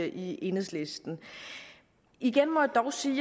i enhedslisten igen må jeg dog sige